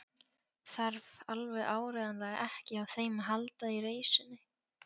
Þarf alveg áreiðanlega ekki á þeim að halda í reisunni.